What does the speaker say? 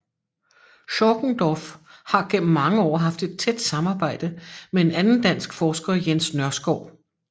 Chorkendorff har gennem mange år haft et tæt samarbejde med en anden dansk forsker Jens Nørskov